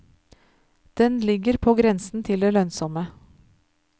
Den ligger på grensen til det lønnsomme.